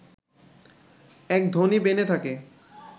এক ধনী বেনে থাকে